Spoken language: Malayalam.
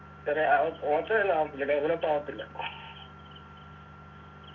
ഏർ ആഹ് ഓച്ചിറ ഒന്നും ആവത്തില്ല develop ആവത്തില്ല